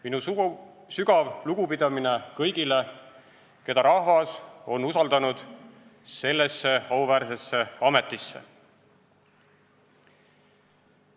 Minu sügav lugupidamine kõigile, keda rahvas on usaldanud sellesse auväärsesse ametisse.